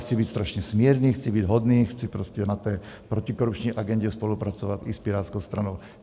Chci být strašně smírný, chci být hodný, chci prostě na té protikorupční agendě spolupracovat i s Pirátskou stranou.